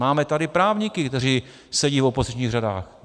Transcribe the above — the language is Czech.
Máme tady právníky, kteří sedí v opozičních řadách.